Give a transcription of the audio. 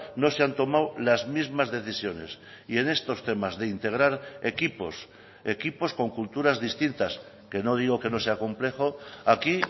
no se han tomado las mismas decisiones y en estos temas de integrar equipos equipos con culturas distintas que no digo que no sea complejo aquí